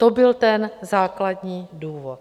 To byl ten základní důvod.